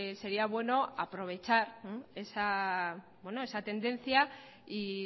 sería bueno aprovechar esa tendencia y